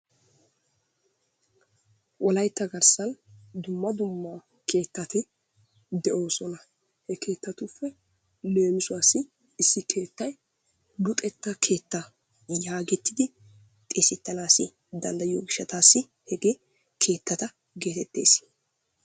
Wolaytta garssan dumma dumma keettati de'oosona. He keettatuppe leemisuwassi issi keettay luxetta keettaa yaagettidi xeesettanaassi danddayiyo gishshataassi hegee keettata geetettees.